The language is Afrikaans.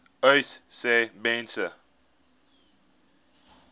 uys sê mense